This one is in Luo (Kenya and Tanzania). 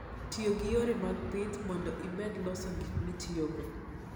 Ti gi yore mag pith mondo imed loso gik mitiyogo.